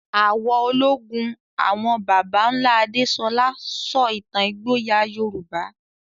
Àwọ̀ ológun àwọn baba ńlá Adesola sọ ìtàn ìgboyà Yorùbá.